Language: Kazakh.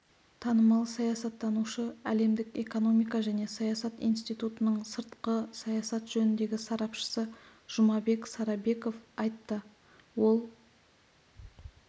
танымал саясаттанушы әлемдік экономика және саясат институтының сыртқы саясат жөніндегі сарапшысы жұмабек сарабеков айтты ол